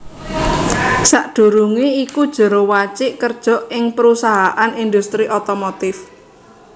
Sadurungé iku Jero Wacik kerja ing perusahaan industri otomotif